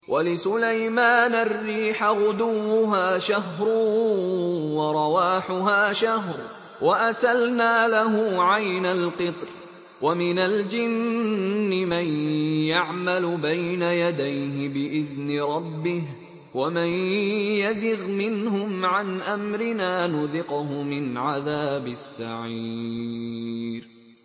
وَلِسُلَيْمَانَ الرِّيحَ غُدُوُّهَا شَهْرٌ وَرَوَاحُهَا شَهْرٌ ۖ وَأَسَلْنَا لَهُ عَيْنَ الْقِطْرِ ۖ وَمِنَ الْجِنِّ مَن يَعْمَلُ بَيْنَ يَدَيْهِ بِإِذْنِ رَبِّهِ ۖ وَمَن يَزِغْ مِنْهُمْ عَنْ أَمْرِنَا نُذِقْهُ مِنْ عَذَابِ السَّعِيرِ